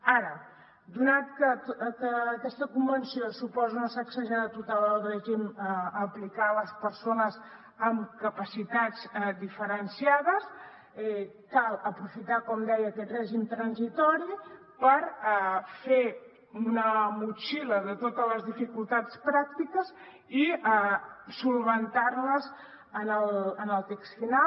ara donat que aquesta convenció suposa una sacsejada total al règim a aplicar a les persones amb capacitats diferenciades cal aprofitar com deia aquest règim transitori per fer una motxilla de totes les dificultats pràctiques i resoldre les en el text final